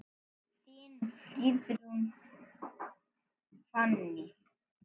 Þín, Friðrún Fanný.